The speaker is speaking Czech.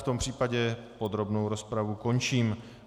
V tom případě podrobnou rozpravu končím.